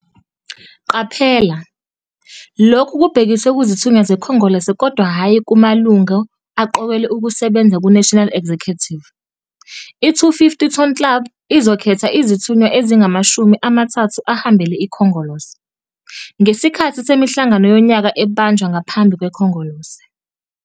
Qaphela - Lokhu kubhekiswe kuzithunywa zeKhongolose kodwa hhayi kumalungu aqokelwe ukusebenza ku-National Executive. 'I-250 Ton Club izokhetha izithunywa ezingamashumi amathathu ahambele iKhongolose, ngesikhathi semihlangano yonyaka ebanjwa ngaphambi kweKhongolose.